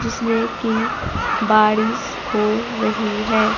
जिसमें की बारिश हो रही है।